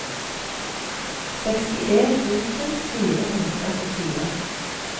sekstien tusen fire hundre og fire